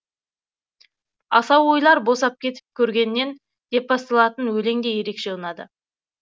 асау ойлар босап кетіп көргеннен деп басталатын өлең де ерекше ұнады